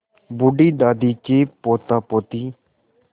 बूढ़ी दादी के पोतापोती